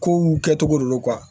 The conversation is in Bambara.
Kow kɛcogo de don